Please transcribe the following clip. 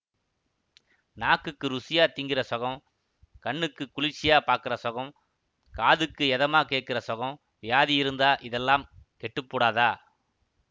நாக்குக்கு ருசியா திங்கிற சொகம் கண்ணுக்கு குளிர்ச்சியா பாக்கற சொகம் காதுக்கு எதமா கேட்கற சொகம்வியாதி இருந்தால் இதெல்லாம் கெட்டுப்பூடதா